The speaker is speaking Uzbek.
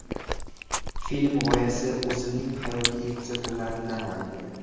Film g‘oyasi o‘zimning hayotiy kuzatuvlarimdan olingan.